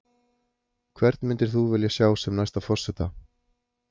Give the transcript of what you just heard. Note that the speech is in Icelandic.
Hvern myndir þú vilja sjá sem næsta forseta?